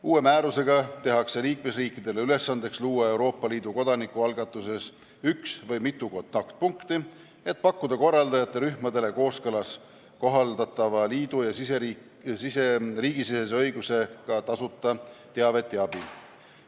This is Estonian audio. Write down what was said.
Uue määrusega tehakse liikmesriikidele ülesandeks luua Euroopa Liidu kodanikualgatuses üks või mitu kontaktpunkti, et pakkuda korraldajate rühmadele kooskõlas kohaldatava liidu ja riigisisese õigusega tasuta teavet ja abi.